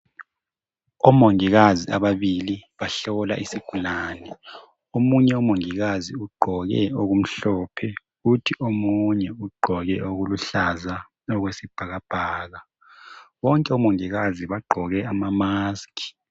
Omongikazi ababili bahlola isigulane. Omunye umongikazi ugqoke okumhlophe kuthi omunye ugqoke okuluhlaza okwesibhakabhaka bonke omongikazi bagqoke amamask.